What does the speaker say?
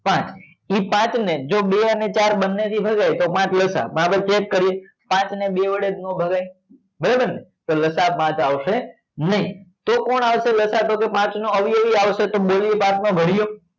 પાંચ એ પાંચ ને જો બે અને ચાર બંને થી ભગાય તો પાંચ લસા તો આપડે check કરીએ પાંચ ને બે વડે તો નો ભગાય બરોબર ને તો લસા પાંચ આવશે નહી તો કોણ આવશે લસા તો કે પાંચ નો અવયવી આવશે તો બે એ પાંચ નો ભર્યો